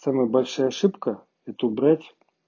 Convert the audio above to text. самая большая ошибка это убрать